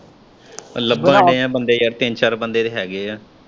ਲੱਭਣ ਦੇਏ ਆ ਬੰਦੇ ਯਾਰ ਤਿੰਨ-ਚਾਰ ਬੰਦੇ ਤੇ ਹੈਗੇ ਏ।